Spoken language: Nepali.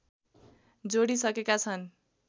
जोडिइसकेका छन्